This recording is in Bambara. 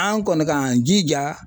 An kɔni k'an jija